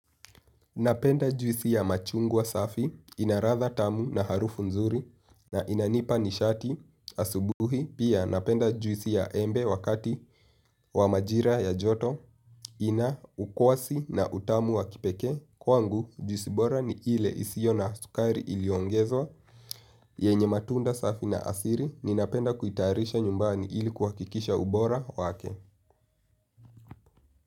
Napenda juisi ya machungwa safi inaradha tamu na harufu nzuri na inanipa nishati asubuhi pia napenda juisi ya embe wakati wa majira ya njoto ina ukwasi na utamu wa kipekee. Kwangu juisi bora ni ile isiyo na sukari iliyoongezwa yenye matunda safi na asili ninapenda kuitayarisha nyumbani ili kuhakikisha ubora wake.